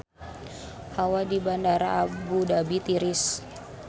Hawa di Bandara Abu Dhabi tiris